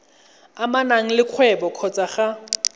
amanang le kgwebo kgotsa ga